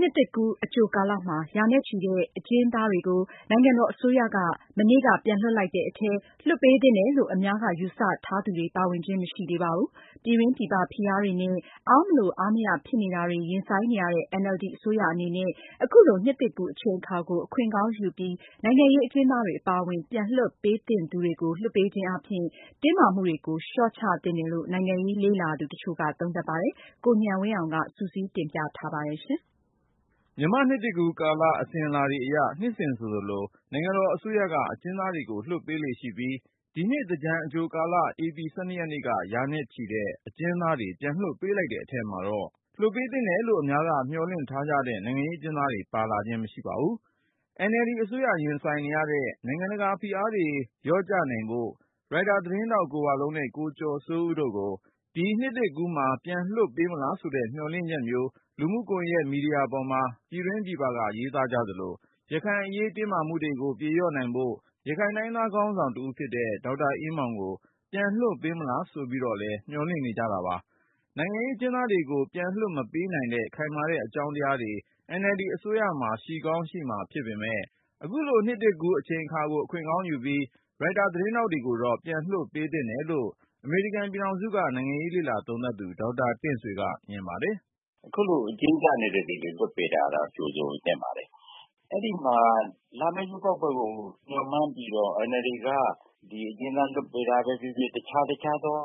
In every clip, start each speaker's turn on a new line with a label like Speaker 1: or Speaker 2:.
Speaker 1: နှစ်သစ်ကူးအကြိုကာလမှာ ရာနဲ့ချီတဲ့ အကျဉ်းသားတွေကို နိုင်ငံတော်အစိုးရက မနေ့က ပြန်လွှတ်လိုက်တဲ့အထဲမှာ လွတ်ပေးသင့်တယ်လို့ အများက ယူဆထားသူတွေ ပါဝင်ခြင်း မရှိသေးပါဘူး။ ပြည်တွင်းပြည်ပ ဖိအားတွေနဲ့ အားမလိုအားမရ ဖြစ်နေတာတွေ ရင်ဆိုင်နေရတဲ့ NLD အစိုးရအနေနဲ့ အခုလို နှစ်သစ်ကူးအချိန်အခါကို အခွင့်ကောင်းယူပြီး နိုင်ငံရေးအကျဉ်းသားတွေ အပါဝင် ပြန်လွှတ်ပေးသင့်သူတွေကို လွှတ်ပေးခြင်းအားဖြင့် တင်းမာမှုတွေကို လျှော့ချသင့်တယ်လို့ နိုင်ငံရေးလေ့လာသူတချို့က သုံးသပ်ပါတယ်။ ကိုဉာဏ်ဝင်းအောင်က စုစည်း တင်ပြထားပါတယ်။
Speaker 2: မြန်မာ့နှစ်သစ်ကူးကာလ အစဉ်အလာအရ နှစ်စဉ်ဆိုသလို နိုင်ငံတော်အစိုးရက အကျဉ်းသားတွေကို လွှတ်ပေးလေ့ရှိပြီး ဒီနှစ် သင်္ကြန်အကြိုကာလ၊ ဧပြီ ၁၂ ရက်နေ့က ရာနဲ့ချီတဲ့ အကျဉ်းသားတွေ ပြန်လွှတ်ပေးလိုက်တဲ့အထဲမှာတော့ လွတ်ပေးသင့်တယ်လို့ အများက မျှော်လင့်ထားကြတဲ့ နိုင်ငံရေးအကျဉ်းသားတွေ ပါဝင်လာခြင်းမရှိပါဘူး။ NLD အစိုးရ ရင်ဆိုင်နေရတဲ့ နိုင်ငံတကာဖိအားတွေ လျော့ချနိုင်ဖို့ ရိုက်တာသတင်းထောက် ကိုဝလုံးနဲ့ ကိုကျော်စိုးဦးတို့ကို ဒီနှစ်သစ်ကူးမှာ ပြန်လွှတ်ပေးမလားဆိုတဲ့ မျှော်လင့်ချက်မျိုး လူမှုကွန်ယက် မီဒီယာပေါ်မှာ ပြည်တွင်းပြည်ပက ရေးသားကြသလို ရခိုင်အရေး တင်းမာမှုတွေကို ပြေလျော့နိုင်ဖို့ ရခိုင်တိုင်းရင်းသား ခေါင်းဆောင်တဦးဖြစ်တဲ့ ဒေါက်တာအေးမောင်ကို ပြန်လွှတ်ပေးမလား ဆိုပြီးတော့လည်း မျှော်လင့်နေကြတာပါ။ နိုင်ငံရေး အကျဉ်းသားတွေကို ပြန်လွှတ်မပေးနိုင်တဲ့ ခိုင်မာတဲ့အကြောင်းတရားတွေ NLD အစိုးရမှာ ရှိကောင်းရှိမှာဖြစ်ပေမဲ့ အခုလိုနှစ်သစ်ကူး အချိန်အခါကို အခွင့်ကောင်းယူပြီး ရိုက်တာသတင်းထောက်တွေကိုတော့ ပြန်လွှတ်ပေးသင့်တယ်လို့ အမေရိကန်ပြည်ထောင်စုက နိုင်ငံရေး လေ့လာသုံးသပ်သူ ဒေါက်တာတင့်ဆွေက မြင်ပါတယ်။ "အခုလို အကျဉ်းကျနေတဲ့သူတွေကို လွှတ်
Speaker 1: ပေးတာတော့ ကြိုဆိုသင့်ပါတယ်။ အဲ့ဒီမှာ လာမယ့် ရွေးကောက်ပွဲကို မျှော်မှန်းပြီးတော့ ဒီNLD က အကျဉ်းသား လွှတ်ပေးတာပဲဖြစ်ဖြစ်၊ တခြားတခြားသော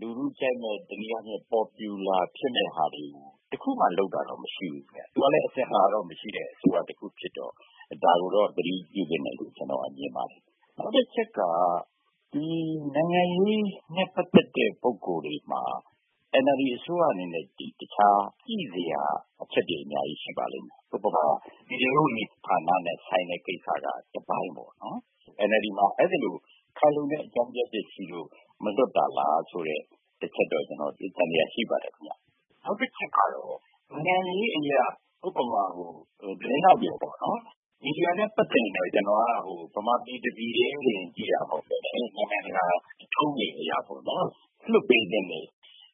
Speaker 1: လူထုကြိုက်မယ့် တနည်းအားဖြင့် ပေါ်ပြူလာဖြစ်မယ့်ဟာတွေကို တခုမှ လုပ်တာမျိုးတော့ မရှိဘူးခင်ဗျ။ သူကလည်း အစဉ်လာတော့ မရှိတဲ့ အစိုးရတခု ဖြစ်တော့ ဒါကိုတော့ သတိပြုသင့်တယ်လို့ ကျနော်က မြင်ပါတယ်။ နောက်တချက်က ဒီနိုင်ငံရေးနဲ့ ပတ်သက်တဲ့ ပုဂ္ဂိုလ်တွေမှာ NLD အစိုးရ အနေနဲ့ တခြားညှိစရာ အချက်တွေ အများကြီးရှိပါလိမ့်မယ်။ ဥပမာ ပြည်ထဲရေးဝန်ကြီးဌာနနဲ့ဆိုင်တဲ့ ကိစ္စကတပိုင်းပေါ့နော်။ NLD မှာ အဲ့သလို ခိုင်လုံတဲ့ အကြောင်းပြချက်ရှိလို့ မလွှတ်တာလားဆိုတဲ့ တချက်တော့ ကျနော် သံသယရှိပါတယ်ခင်ဗျ။ နောက်တချက်ကတော့ နိုင်ငံရေးအရ ဥပမာ သတင်းထောက်တွေပေါ့နော်... မီဒီယာနဲ့ ပတ်သက်ရင်တော့ ကျနော်က ဗမာပြည်တပြည်ထဲတင် ကြည့်တာမဟုတ်ဘဲနဲ့ နိုင်ငံတကာထုံးတွေအရပေါ့နော် လွှတ်ပေးသင့်တဲ့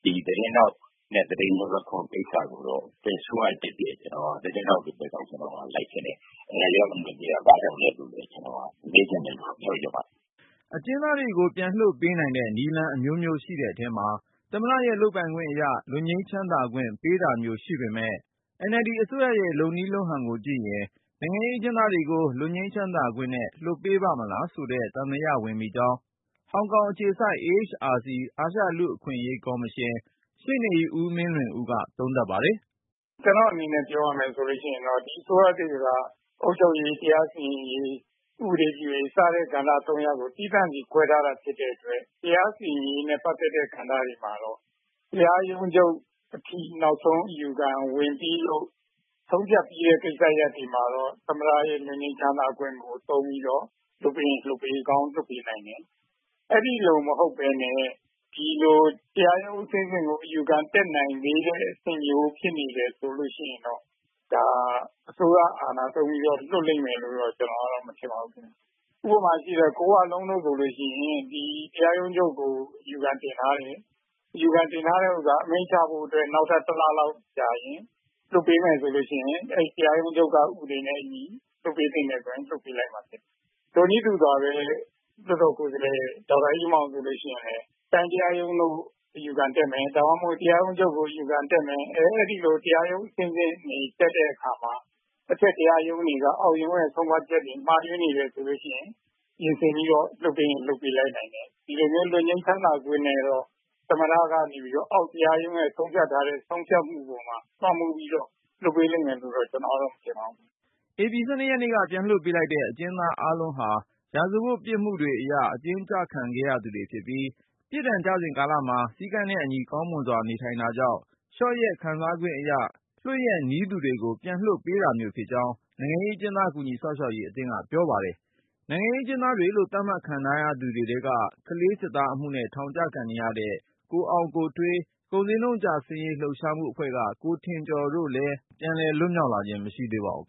Speaker 1: ဒီသတင်းထောက်နဲ့ သတင်းလွတ်လပ်ခွင့်ကိစ္စကိုတော့ ဘယ်အစိုးရတက်တက် ကျနော်က သတင်းထောက်တွေဘက်က ကျနော်ကလိုက်ချင်တယ်။ NLD က လွှတ်မပေးတာ ဘာကြောင့်လဲဆိုပြီး ကျနော်က ပြောချင်ပါတယ်
Speaker 2: ။" အကျဉ်းသားတွေကို ပြန်လွှတ်ပေးနိုင်တဲ့ နည်းလမ်းအမျိုးမျိုးရှိတဲ့အထဲမှာ သမ္မတရဲ့လုပ်ပိုင်ခွင့်အရ လွတ်ငြိမ်းချမ်းသာခွင့် ပေးတာမျိုးရှိပေမဲ့ NLD အစိုးရရဲ့လုပ်နည်းလုပ်ဟန်ကိုကြည့်ရင် နိုင်ငံရေးအကျဉ်းသားတွေကို လွတ်ငြိမ်းချမ်းသာခွင့်နဲ့ လွှတ်ပေးပါ့မလားဆိုတဲ့ သံသယဝင်မိကြောင်း ဟောင်ကောင်အခြေစိုက် AHRC အာရှလူ့အခွင့်အရေးကော်မရှင် ရှေ့နေဦးမင်းလွင်ဦးက သုံးသပ်ပါတယ်
Speaker 3: ။ "ကျနော့်အနေနဲ့ ပြောရမယ်ဆိုလို့ရှိရင် ဒီအစိုးရသစ်က အုပ်ချုပ်ရေး၊ တရားစီရင်ရေး၊ ဥပဒေရေး စတဲ့ကဏ္ဍ ၃ ရပ်ကို သီးသန့်စီ ခွဲထားတာဖြစ်တဲ့အတွက် တရားစီရင်ရေးနဲ့ ပတ်သက်တဲ့ ကဏ္ဍတွေမှာတော့ တရားရုံးချုပ်အထိ နောက်ဆုံးအယူခံဝင်ပြီးလို့ ဆုံးဖြတ်ပြီးတဲ့ ကိစ္စရပ်တွေမှာတော့ သမ္မတရဲ့ လွတ်ငြိမ်းချမ်းသာခွင့်ကို သုံးပြီးတော့ လွှတ်ပေးရင်လွှတ်ပေးကောင်း လွှတ်ပေးနိုင်တယ်။ အဲ့ဒီလို မဟုတ်ဘဲနဲ့ ဒီလိုတရားရုံးအဆင့်ဆင့်ကို အယူခံတတ်နိုင်သေးတဲ့ အဆင့်မျိုးဖြစ်နေတယ်ဆိုလို့ရှိရင်တော့ ဒါအစိုးရ အာဏာသုံးပြီးတော့ လွှတ်လိမ့်မယ်လို့တော့ ကျနော်ကတော့ မထင်ပါဘူးခင်ဗျာ။ ဥပမာရှိတယ် ကိုဝလုံးတို့ဆိုလို့ရှိရင် တရားရုံးချုပ်ကို အယူခံတင်ထားတယ်။ အမိန့်ချဖို့အတွက် နောက်ထပ် ၁ လလောက်ကြာရင် လွှတ်ပေးမယ်ဆိုလို့ရှိရင် အဲ့တရားရုံးချုပ်က ဥပဒေနဲ့ လွှတ်ပေးသင့်တယ်ဆိုရင် လွှတ်ပေးလိုက်မှာ ဖြစ်တယ်။ ထိုနည်းတူစွာပဲ လွှတ်တော်ကိုယ်စားလှယ် ဒေါက်တာအေးမောင်ဆိုလို့ရှိရင်လည်း တိုင်းတရားရုံးတို့ အယူခံတက်မယ်။ ဒါမှမဟုတ် တရားရုံးချုပ်ကို အယူခံတက်မယ်။ အဲ့ဒီလို တရားရုံး အဆင့်ဆင်တက်တဲ့အခါမှာ အထက်တရားရုံးတွေက အောက်ရုံးရဲ့ ဆုံးဖြတ်ချက်တွေ မှားယွင်းနေတယ်ဆိုလို့ရှိရင် ပြင်ဆင်ပြီးတော့ လွှတ်ပေးရင်လွှတ်ပေးလိုက်နိုင်တယ်။ ဒီလိုမျိုး လွတ်ငြိမ်းချမ်းသာခွင့်နဲ့တော့ သမ္မတကနေပြီးတော့ အောက်တရားရုံးရဲ့ ဆုံးဖြတ်ထားတဲ့ ဆုံးဖြတ်မှုပေါ်မှာ လွှမ်းမိုးပြီးတော့ လွှတ်ပေးလိမ့်မယ်လို့တော့ ကျနော်ကတော့ မထင်ပါဘူး
Speaker 2: ။" ဧပြီ ၁၂ ရက်နေ့က ပြန်လွှတ်ပေးလိုက်တဲ့ အကျဉ်းသားအားလုံးဟာ ရာဇဝတ်ပြစ်မှုတွေအရ အကျဉ်းကျခံခဲ့သူတွေဖြစ်ပြီး ပြစ်ဒဏ်ကျနေစဉ် ကာလမှာ စည်းကမ်းနဲ့အညီ ကောင်းမွန်စွာနေထိုင်တာကြောင့် လျော့ရက်ခံစားခွင့်အရ လွှတ်ရက်နီးသူတွေကို ပြန်လွှတ်ပေးတာမျိုး ဖြစ်ကြောင်း နိုင်ငံရေးအကျဉ်းသား ကူညီစောင့်ရှောက်ရေးအသင်းက ပြောပါတယ်။ နိုင်ငံရေးအကျဉ်းသားတွေလို့ သတ်မှတ်ခံထားရသူတွေ ထဲက ကလေးစစ်သားအမှုနဲ့ ထောင်ဒဏ်ကျနေတဲ့ ကိုအောင်ကိုထွေး ကုန်ဈေးနှုန်းကျဆင်းရေး လှုပ်ရှားမှုအဖွဲ့က ဦးထင်ကျော်တို့လည်း ပြန်လည် လွတ
Speaker 1: ်မြောက်လာခြင်း မရှိသေးပါဘူး